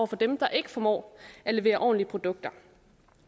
for dem der ikke formår at levere ordentlige produkter